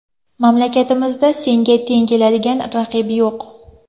Mamlakatimizda senga teng keladigan raqib yo‘q.